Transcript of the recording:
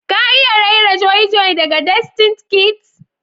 ka iya raira joy joy daga destined kids?